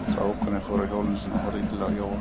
Sá ókunni fór af hjólinu sínu og horfði illilega á Jóa.